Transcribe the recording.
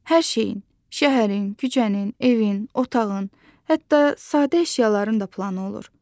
Hər şeyin, şəhərin, küçənin, evin, otağın, hətta sadə əşyaların da planı olur.